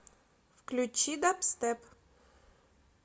включи дабстеп